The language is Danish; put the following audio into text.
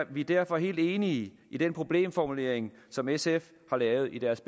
vi derfor helt enige i den problemformulering som sf har lavet i deres